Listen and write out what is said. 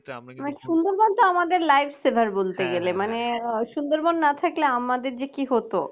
সুন্দরবনতো আমাদের lifesaver বলতে গেলে মানে সুন্দরবন না থাকলে আমাদের যে কি হত